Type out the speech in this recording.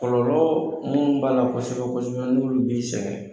Kɔlɔ mun b'a la kosɛbɛ kosɛbɛ n'olu bi sɛngɛ